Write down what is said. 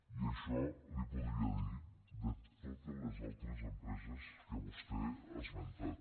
i això li podria dir de totes les altres empreses que vostè ha esmentat